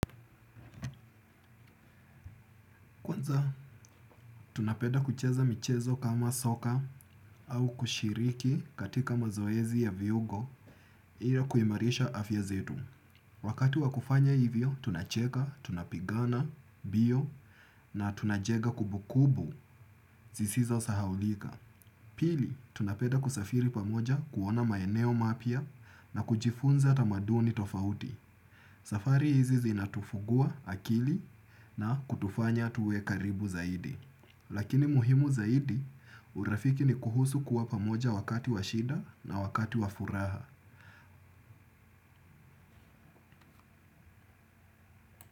Tunapenda kucheza michezo kama soka au kushiriki katika mazoezi ya viungo ili kuimarisha afya zetu. Wakati wa kufanya hivyo, tunacheka, tunapigana, mbio na tunajenga kubukubu zisizo sahaulika. Pili, tunapeda kusafiri pamoja kuona maeneo mapya na kujifunza tamaduni tofauti. Safari hizi zinatufungua akili na kutufanya tuwe karibu zaidi. Lakini muhimu zaidi urafiki ni kuhusu kuwa pamoja wakati wa shida na wakati wa furaha.